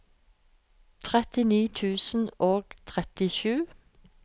trettini tusen og trettisju